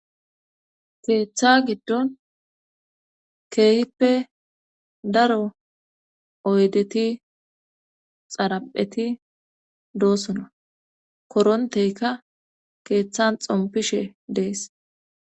Keeththa giddon keehippe daro oydeti xarapheti doosona koronteyka keeththan xompishe dees.